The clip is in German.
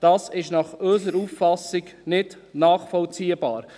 Dies ist nach unserer Auffassung nicht nachvollziehbar.